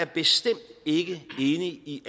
bestemt ikke er enig i